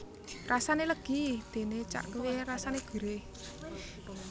Rasane legi dene cahkwe rasane gurih